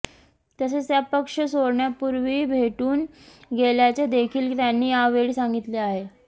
तसेच त्या पक्ष सोडण्यापूर्वी भेटून गेल्याचे देखील त्यांनी यावेळी सांगितले आहे